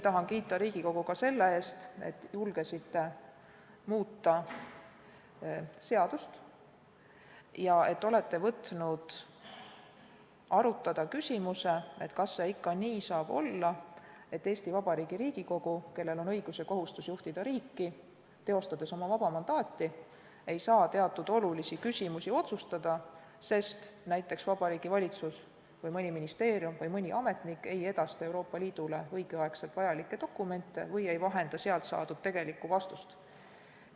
Tahan kiita Riigikogu selle eest, et te julgesite muuta seadust ja olete võtnud arutada küsimuse, kas see ikka nii saab olla, et Eesti Vabariigi Riigikogu, kellel on õigus ja kohustus juhtida riiki, teostades oma vaba mandaati, ei saa teatud olulisi küsimusi otsustada, sest näiteks Vabariigi Valitsus või mõni ministeerium või mõni ametnik ei edasta Euroopa Liidule õigel ajal vajalikke dokumente või ei vahenda sealt saadud vastust.